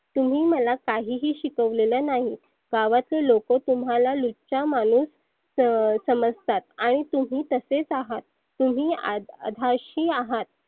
तुम्ही मला काही ही शिकवलेलं नाही. गावातले लोक तुम्हाला लुच्चा माणूस स समजतात. आणि तुम्ही तसेच आहात. तुम्ही अध आधाशी आहात.